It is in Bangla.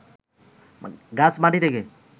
গাছ মাটি থেকে